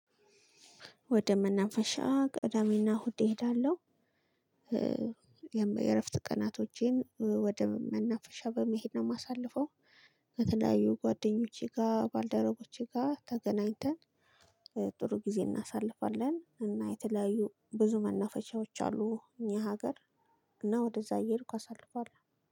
ወደ መናፈሻ ቅዳሚ እና እሁድ እሄዳለሁ እ የመ የእረፍት ቀናቶቼን እ ወደ መናፈሻ በመሄድ ነው የማሳልፈው። ከተለያዩ ጓደኞቼ ጋር ባልደረቦቼ ጋር ተገናኝተን ጥሩ ጊዜ እናሳልፋለን እና የተለያዩ ብዙ መናፈሻዎች አሉ። እኛ ሀገር እና ወደዛ እየሄድኩ አሳልፋለሁ